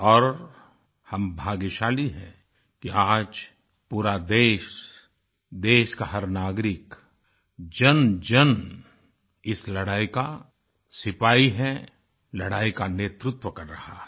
और हम भाग्यशाली हैं कि आज पूरा देश देश का हर नागरिक जनजन इस लड़ाई का सिपाही है लड़ाई का नेतृत्व कर रहा है